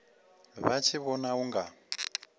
vha tshi vhona u nga